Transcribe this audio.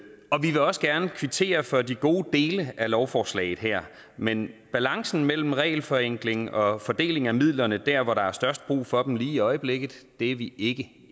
også gerne kvittere for de gode dele af lovforslaget her men balancen mellem regelforenklingen og fordelingen af midlerne der hvor der er størst brug for dem lige i øjeblikket er vi ikke